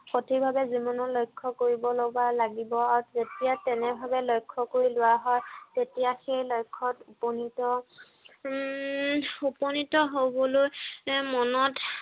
সঠিক ভাৱে জীৱনৰ লক্ষ্য় কৰিব লগা লাগিব আৰু তেতিয়া তেনে ভাৱে লক্ষ্য় কৰি লোৱা হয়। তেতিয়া সেই লক্ষ্য়ত উপনীত উম উপনীত হবলৈ মনত